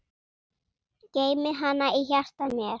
Geymi hana í hjarta mér.